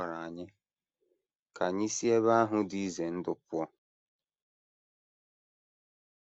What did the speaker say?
A gwara anyị ka anyị si ebe ahụ dị ize ndụ pụọ.